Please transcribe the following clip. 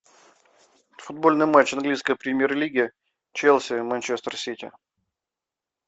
футбольный матч английской премьер лиги челси манчестер сити